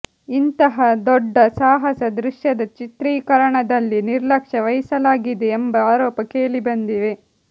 ಇಂತಹ ದೊಡ್ಡ ಸಾಹಸ ದೃಶ್ಯದ ಚಿತ್ರೀಕರಣದಲ್ಲಿ ನಿರ್ಲಕ್ಷ್ಯ ವಹಿಸಲಾಗಿದೆ ಎಂಬ ಆರೋಪ ಕೇಳಿಬಂದಿವೆ